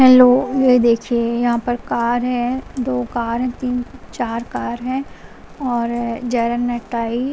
hello ये देखिए यहां पर कार है दो कार है तीन चार कार है और --